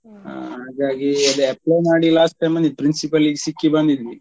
ಹಾ ಹಾಗಾಗಿ ಅದೇ apply ಮಾಡಿ last time principal ಗೆ ಸಿಕ್ಕಿ ಬಂದಿದ್ವಿ.